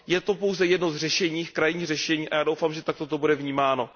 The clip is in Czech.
Je to pouze jedno z řešení, krajní řešení, a já doufám, že takto to bude vnímáno.